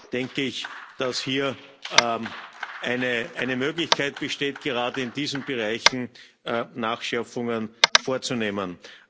Daher denke ich, dass hier eine Möglichkeit besteht, gerade in diesen Bereichen Nachschärfungen vorzunehmen.